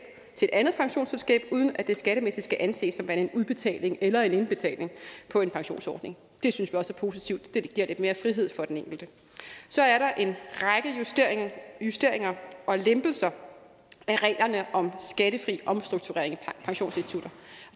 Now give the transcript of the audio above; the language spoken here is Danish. til et andet pensionsselskab uden af det skattemæssigt skal anses som værende en udbetaling eller en indbetaling på en pensionsordning det synes vi også er positivt det giver lidt mere frihed for den enkelte så er der en række justeringer og lempelser af reglerne om skattefri omstrukturering af pensionsinstitutter